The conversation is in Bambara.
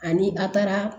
Ani a taara